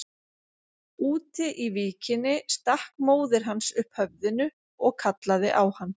Úti í víkinni stakk móðir hans upp höfðinu og kallaði á hann.